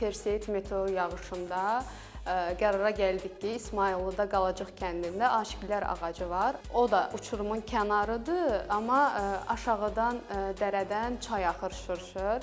Perseid meteor yağışında qərara gəldik ki, İsmayıllıda Qalacıq kəndində Aşıqlər ağacı var, o da uçurumun kənarıdır, amma aşağıdan dərədən çay axır şırşır.